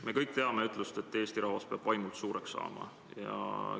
Me kõik teame ütlust, et eesti rahvas peab vaimult suureks saama.